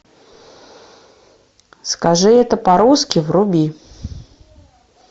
скажи это по русски вруби